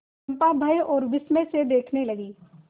चंपा भय और विस्मय से देखने लगी